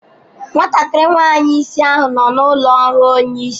Nwatakịrị nwanyị isi ahụ nọ n'ụlọ ọrụ onye isi.